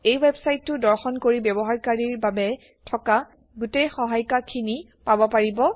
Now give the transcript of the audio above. এই ৱেবচাইটো দৰ্শন কৰি ব্যৱহাৰকাৰীৰ বাবে থকা গোটেই সহায়িকাখিনি পাব পাৰিব